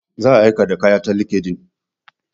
Za a aika da kaya ta linkedIn.